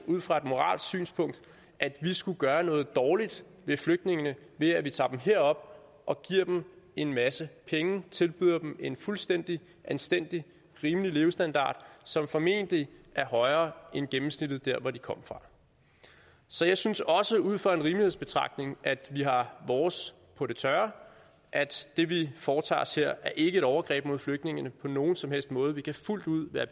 ud fra et moralsk synspunkt se at vi skulle gøre noget dårligt med flygtningene ved at vi tager dem herop og giver dem en masse penge tilbyder dem en fuldstændig anstændig rimelig levestandard som formentlig er højere end gennemsnittet der hvor de kommer fra så jeg synes også ud fra en rimelighedsbetragtning at vi har vores på det tørre at det vi foretager os her ikke er et overgreb mod flygtningene på nogen som helst måde vi kan fuldt ud være